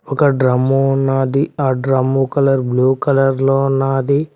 ఒక డ్రమ్ము ఉన్నాది ఆ డ్రమ్ము కలర్ బ్లూ కలర్ లో ఉన్నాది.